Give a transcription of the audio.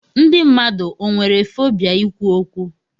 Ndị mmadụ o nwere fobia ikwu okwu?